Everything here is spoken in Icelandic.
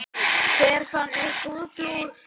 Hver fann upp húðflúr?